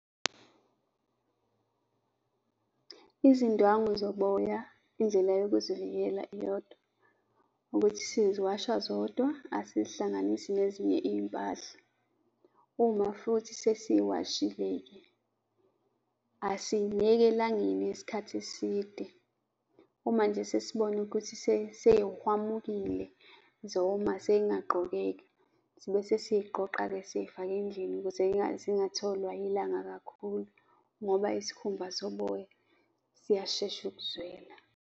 Izindwangu zoboya, indlela yokuzivikela iyodwa ukuthi siziwasha zodwa, asizihlanganisi nezinye izimpahla. Uma futhi sesiziwashile-ke, asizineki elangeni isikhathi eside. Uma nje sesibona ukuthi sey'hwamukile, zoma, sezingaqgokeka, sibese siziqoqa-ke sizifake endlini ukuze zingatholwa ilanga kakhulu ngoba isikhumba soboya siyashesha ukuzwela.